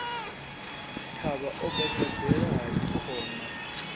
thavha o gagaḓela hai khona